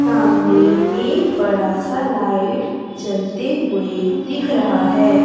सामने एक बड़ासा लाइट जलते हुवे दिख रहा है।